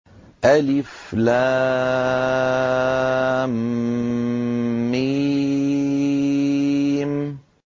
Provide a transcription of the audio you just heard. الم